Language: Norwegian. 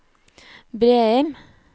Breim